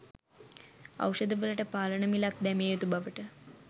ඖෂධවලට පාලන මිලක් දැමිය යුතු බවට